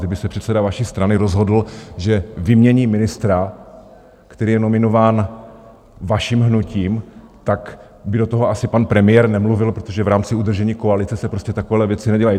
Kdyby se předseda vaší strany rozhodl, že vymění ministra, který je nominován vaším hnutím, tak by do toho asi pan premiér nemluvil, protože v rámci udržení koalice se prostě takové věci nedělají.